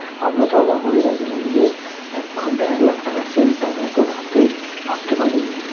আমরা তো অবাক হয়ে গেছিলাম যে এক ঘন্টায় একলাখ টাকার Sale তও আবার এতো রাতে ভাবতে পারি নি